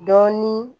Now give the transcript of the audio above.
Dɔɔnin